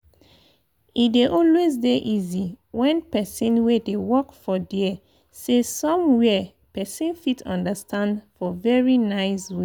e dey always dey easy when people wey dey work for dere say some where person fit understand for very nice way.